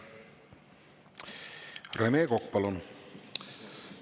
Rene Kokk, palun!